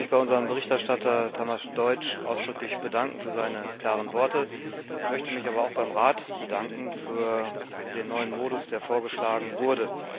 Ich möchte mich bei unserem Berichterstatter Tamás Deutsch ausdrücklich für seine klaren Worte bedanken. Ich möchte mich aber auch beim Rat bedanken für den neuen Modus, der vorgeschlagen wurde.